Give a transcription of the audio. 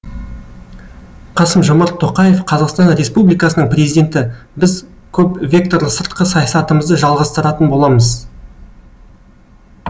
қасым жомарт тоқаев қазақстан республикасының президенті біз көпвекторлы сыртқы саясатымызды жалғастыратын боламыз